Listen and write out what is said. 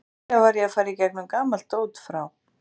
Nýlega var ég að fara í gegnum gamalt dót frá